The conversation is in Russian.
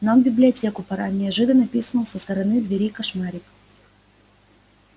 нам в библиотеку пора неожиданно пискнул со стороны двери кошмарик